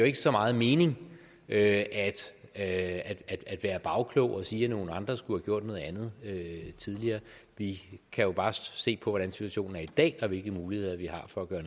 ikke så meget mening at at være bagklog og sige at nogle andre skulle have gjort noget andet tidligere vi kan jo bare se på hvordan situationen er i dag og hvilke muligheder vi har for at gøre